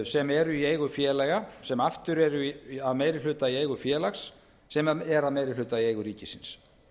sem eru í eigu félaga sem eru aftur eru að í meiri hluta eigu félags sem er í meiri hluta eigu ríkisins